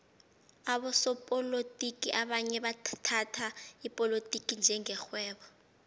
abosopolotiki abanye bathhatha ipolotiki njenge rhwebo